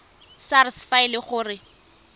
sars fa e le gore